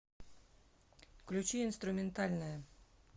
включи инструментальная